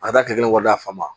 A ka taa kile kelen kɔnɔna